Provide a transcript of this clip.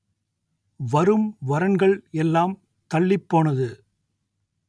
வரும் வரன்கள் எல்லாம் தள்ளிப் போனது